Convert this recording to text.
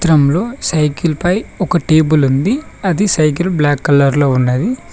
అద్దం లో సైకిల్ పై ఒక టేబుల్ ఉంది అది సైకిల్ బ్లాక్ కలర్ లో ఉన్నది.